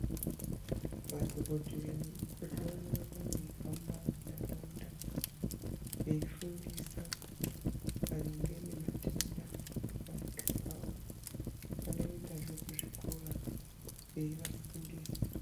Madhokodheya nemikoti vanoramba veihamba muntaraunda veifundisa maringe nematenda nekurapika kwawo. Vanoendazve kuzvikora veivafundisa.